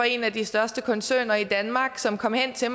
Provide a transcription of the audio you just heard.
en af de største koncerner i danmark som kom hen til